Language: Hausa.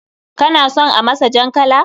Kana son a masa jan kala?